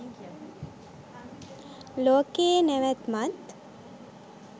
ලෝකයේ නැවැත්මත්